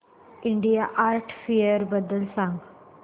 India art fair बद्दल सांग